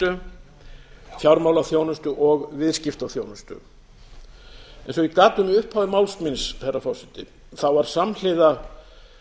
og viðskiptaþjónustu eins og ég gat um í upphafi máls míns herra forseti var samhliða